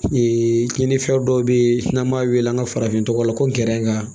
kininfɛn dɔw bɛ yen n'an b'a wele an ka farafin tɔgɔ la ko ngɛrɛ in ka